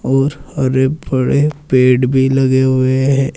और हरे भरे पेड़ भी लगे हुए हैं।